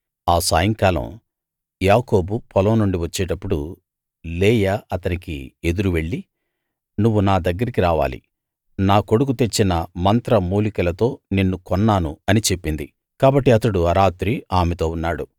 ఆ సాయంకాలం యాకోబు పొలం నుండి వచ్చేటప్పుడు లేయా అతనికి ఎదురు వెళ్లి నువ్వు నా దగ్గరికి రావాలి నా కొడుకు తెచ్చిన మంత్రమూలికలతో నిన్ను కొన్నాను అని చెప్పింది కాబట్టి అతడు ఆ రాత్రి ఆమెతో ఉన్నాడు